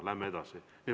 Läheme edasi.